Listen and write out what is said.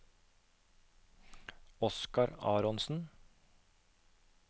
Oscar Aronsen